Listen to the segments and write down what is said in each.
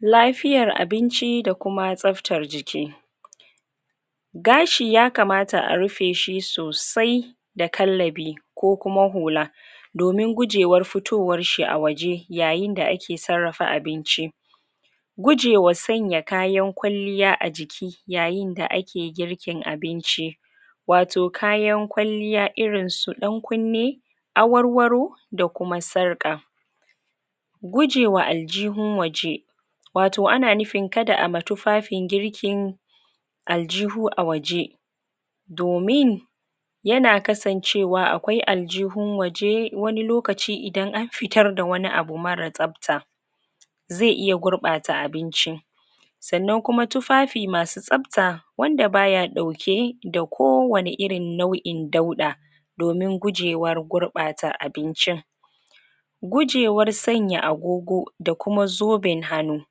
lafiyar abinci da kuma tsaftar jiki gashi ya kamata a rufeshi sosai da kallabi ko kuma hula domin gujewar fitowarshi a waje yayinda ake sarrafa abinci gujewa sanya kayan kwalliya a jiki yayinda ake girkin abinci wato kayan kwalliya irinsu ɗan kunne awarwaro da kuma sarƙa gujewa aljihun waje wato ana nufin kada ama tufafin girkin aljihu a waje domin yana kasancewa akwai aljihun waje wani lokaci idan an fitarda wani abu mara tsafta zai iya gurɓata abinci sannan kuma tufafi masu tsafta wanda baya ɗauke da kowanne irin nau'in dauɗa domin gujewar gurɓata abincin gujewar sanya agogo da kuam zoben hanu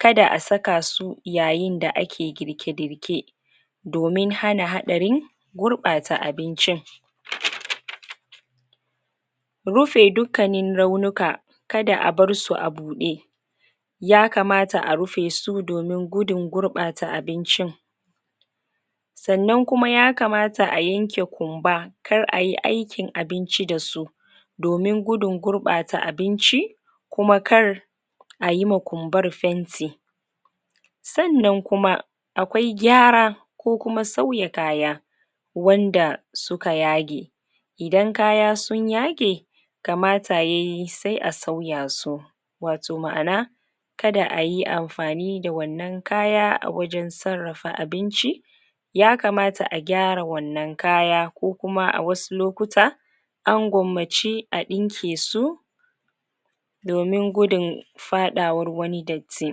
kada a saka su yayinda ake girke-girke domin hana haɗarin gurɓata abincin rufe dukkanin raunuka kada a barsu a buɗe ya kamata a rufesu domin gudun gurɓata abincin sannan kuma ya kamata a yanke kumba kar ayi aikin abinci dasu domin gudun gurɓata abinci kuma kar ayima kumbar fenti sannan kuma akwai gyara ko kuma sauya kaya wanda suka yage idan kaya sun yage kamata yayi sai a sauya su wato ma'ana kada ayi amfani da wannan kaya a wajen sarrafa abinci ya kaamta a gyara wannan kaya ko kuma a wasu lokuta an gwammace a ɗinkesu domin gudun faɗawar wani datti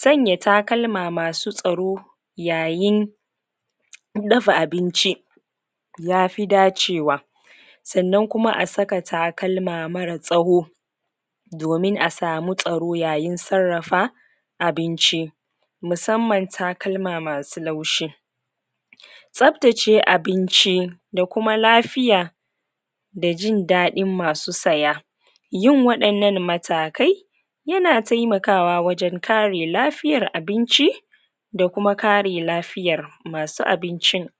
sanya takalma masu tsaro yayin raba abinci yafi dacewa sannan kuma a saka takalma mara tsawo domin a samu tsaro yayin sarrafa abinci musamman takama masu laushi tsaftace abinci da kuma lafiya da jin daɗin masu saya yin waɗannan matakai yana taimakawa wajen kare lafiyar abinci da kuma kare lafiyar masu abincin